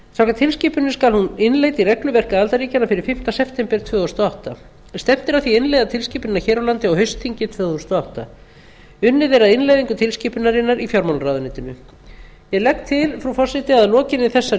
samkvæmt tilskipuninni skal hún innleidd í regluverk aðildarríkjanna fyrir fimmta september tvö þúsund og átta stefnt er að því að innleiða tilskipunina hér á landi á haustþingi tvö þúsund og átta unnið er að innleiðingu tilskipunarinnar í fjármálaráðuneytinu ég legg til frú forseti að lokinni þessari